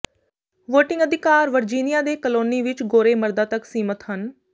voting ਅਧਿਕਾਰ Virginia ਦੇ colony ਵਿੱਚ ਗੋਰੇ ਮਰਦਾਂ ਤੱਕ ਸੀਮਿਤ ਹਨ